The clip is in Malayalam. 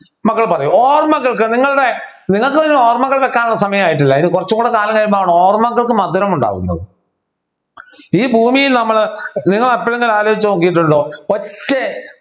മക്കൾ പറയൂ ഓർമ്മകൾക്ക് നിങ്ങളുടെ നിങ്ങൾക്ക് പിന്നെ ഓർമ്മകൾ വെക്കാനുള്ള സമയമായിട്ടില്ല ഇനി കുറച്ചുകൂടി കാലം കഴിയുമ്പോഴാണ് ഓർമ്മകൾക്ക് മധുരം ഉണ്ടാകുന്നത് ഈ ഭൂമിയിൽ നമ്മൾ നിങ്ങൾ എപ്പോഴെങ്കിലും ആലോചിച്ചു നോക്കിയിട്ടുണ്ടോ ഒറ്റ